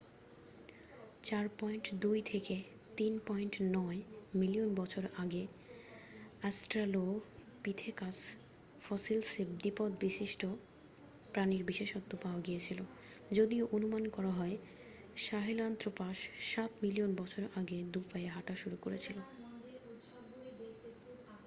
4.2-3.9 million বছর আগে Australopithecus ফসিলসে দ্বিপদ বিশিষ্ট প্রাণীর বিশেষত্ব পাওয়া গিয়েছিল যদিও অনুমান করা হয় সাহেলান্ত্রপাস সাত মিলিয়ন বছর আগেই দু'পায়ে হাঁটা শুরু করেছিল।